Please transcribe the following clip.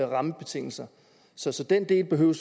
rammebetingelser så så den del behøver